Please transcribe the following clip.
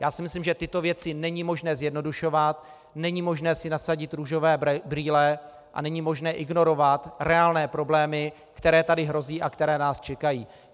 Já si myslím, že tyto věci není možné zjednodušovat, není možné si nasadit růžové brýle a není možné ignorovat reálné problémy, které tady hrozí a které nás čekají.